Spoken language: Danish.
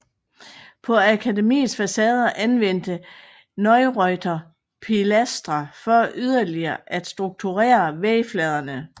På akademiets facader anvendte Neureuther pilastre for yderligere at strukturere vægfladerne